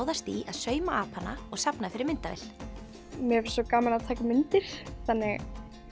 ráðast í að sauma apana og safna fyrir myndavél mér finnst svo gaman að taka mynd þannig